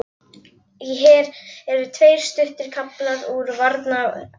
Hér eru tveir stuttir kaflar úr varnarræðunni